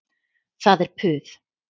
Það er puð.